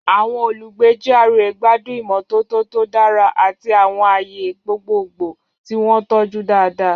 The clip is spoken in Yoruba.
Àwọn olùgbé GRA gbádùn ìmọ́tótó tó dára àti àwọn ààyè gbogbogbò tí wọ́n tọ́jú dáadáa.